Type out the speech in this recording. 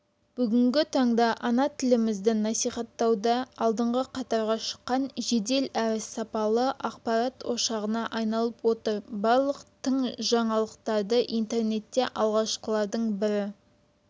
бүгінгі таңда ана тілімізді насихаттауда алдыңғы қатарға шыққан жедел әрі сапалы ақпарат ошағына айналып отыр барлық тың жаңалықтарды интернетте алғашқылардың бірі